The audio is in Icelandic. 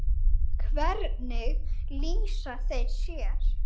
Hvernig lýsa þeir sér?